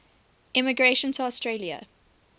immigration to australia